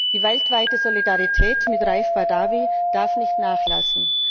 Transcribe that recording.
Die weltweite Solidarität mit Raif Badawi darf nicht nachlassen.